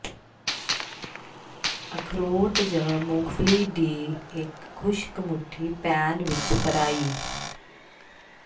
ਅਖਰੋਟ ਜ ਮੂੰਗਫਲੀ ਦੀ ਇੱਕ ਖੁਸ਼ਕ ਮੁੱਠੀ ਪੈਨ ਵਿਚ ਫਰਾਈ